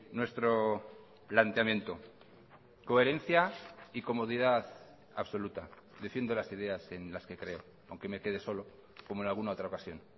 nuestro planteamiento coherencia y comodidad absoluta defiendo las ideas en las que creo aunque me quede solo como en alguna otra ocasión